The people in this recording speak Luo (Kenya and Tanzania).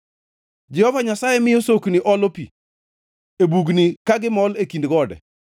Jehova Nyasaye miyo sokni olo pi e bugni ka gimol e kind gode.